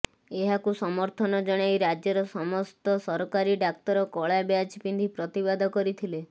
ଏହାକୁ ସମର୍ଥନ ଜଣାଇ ରାଜ୍ୟର ସମସ୍ତ ସରକାରୀ ଡାକ୍ତର କଳା ବ୍ୟାଜ୍ ପିନ୍ଧି ପ୍ରତିବାଦ କରିଥିଲେ